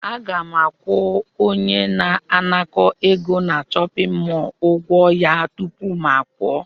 Aga m akwụ onye na-anakọ egọ na chọpịn mọọlụ ụgwọ ya tupu m pụọ.